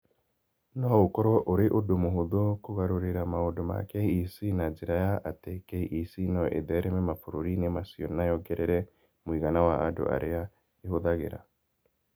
No ũkorũo ũrĩ ũndũ mũhũthũ kũgarũrĩra maũndũ ma KEC na njĩra ya atĩ KEC no ĩthereme mabũrũri-inĩ macio na yongerere mũigana wa andũ arĩa ĩhũthagĩra.